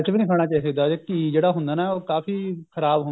ਇਹ ਨਹੀਂ ਖਾਣਾ ਚਾਹਿਦਾ ਇਹ ਘੀ ਜਿਹੜਾ ਹੁੰਦਾ ਨਾ ਉਹ ਕਾਫੀ ਖ਼ਰਾਬ ਹੁੰਦਾ